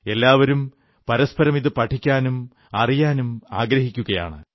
എല്ലാവരും പരസ്പരം ഇതു പഠിക്കാനും അറിയാനും ആഗ്രഹിക്കുകയാണ്